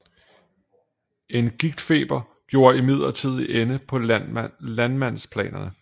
En gigtfeber gjorde imidlertid ende på landmandsplanerne